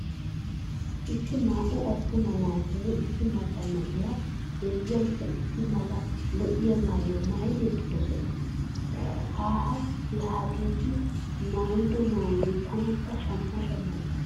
Issi naa"u attuma naatinne issi macca na'iya heezzaykka issi mala lo'ya maayuwa maayidi eqqidosona. Haaha laa hegeeti maayido maayoy tanakka shamma shamma giissees.